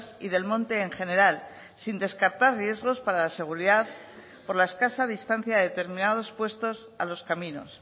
y del monte en general sin descartar riesgos para la seguridad por la escasa distancia de determinados puestos a los caminos